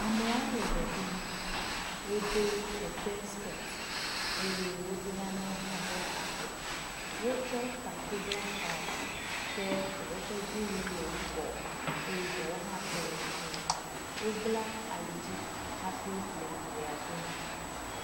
Ameawo le ʋe ɖum, wodo kete skɛt, eye wodo nanewo hã ɖe afɔ, wotsɔ taku bla tae. Ke ɖewo ƒe dziwui le yibɔ eye ɖewo hã tɔ le dze. Wobla alidzi hafi le ʋea ɖum.